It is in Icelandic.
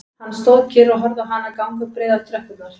Hann stóð kyrr og horfði á hana ganga upp breiðar tröppurnar